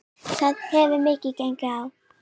Það hefur mikið gengið á.